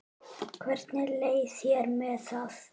Hvernig leið þér með það?